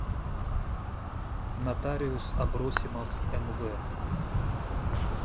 нотариус абросимов мв